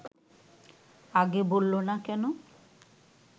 আগে বলল না কেন